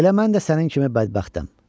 Elə mən də sənin kimi bədbəxtəm.